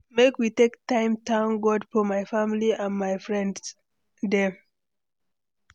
Make we take time thank God for my family and my friend dem.